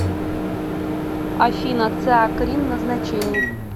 афина циакрин назначение